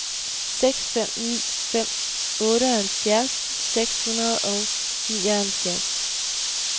seks fem ni fem otteoghalvfjerds seks hundrede og nioghalvfjerds